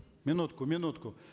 минутку минутку